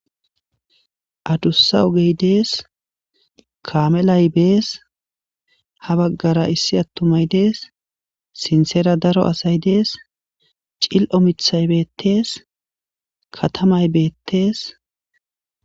Adusa ogey des kamelay dees ha bagara issi atumay dees sintera daro asay dees c'ililo mithay betes katamay betes.